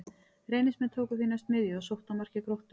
Reynismenn tóku því næst miðju og sóttu að marki Gróttu.